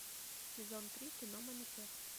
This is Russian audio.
сезон три кино манифест